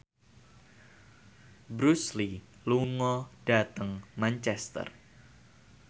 Bruce Lee lunga dhateng Manchester